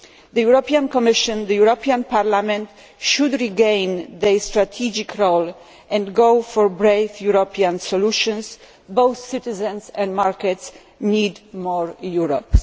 The European Commission and the European Parliament should regain their strategic role and go for brave European solutions. Both citizens and markets need more Europe.